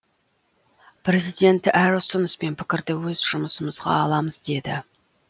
президент әр ұсыныс пен пікірді өз жұмысымызға аламыз деді